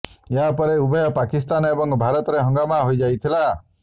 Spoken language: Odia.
ଏହା ପରେ ଉଭୟ ପାକିସ୍ତାନ ଏବଂ ଭାରତରେ ହଙ୍ଗାମା ହୋଇଯାଇଥିଲା